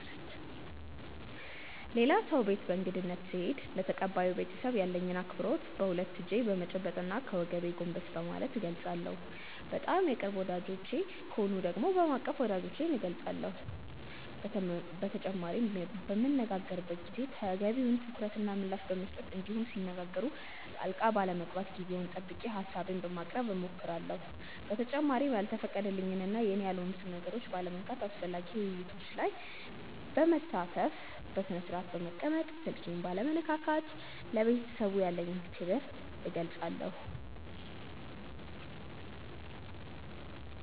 ሌላ ሰው ቤት በእንግድነት ስሄድ ለተቀባዩ ቤተሰብ ያለኝን አክብሮት በሁለት እጄ በመጨበጥ እና ከወገቤ ጎንበስ በማለት እገልፃለሁ። በጣም የቅርብ ወዳጆቼ ከሆኑ ደግሞ በማቀፍ ወዳጅነቴን እገልፃለሁ። በተጨማሪም በምንነጋገርበት ጊዜ ተገቢውን ትኩረት እና ምላሽ በመስጠት እንዲሁም ሲነጋገሩ ጣልቃ ባለመግባት ጊዜውን ጠብቄ ሀሳቤን በማቅረብ እሞክራለሁ። በተጨማሪም ያልተፈቀደልኝን እና የኔ ያልሆኑትን ነገሮች ባለመንካት፣ አስፈላጊ ውይይቶች ላይ በመሳተፍ፣ በስነስርአት በመቀመጥ፣ ስልኬን ባለመነካካት ለቤተሰቡ ያለኝን አክብሮት እገልፃለሁ።